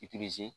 I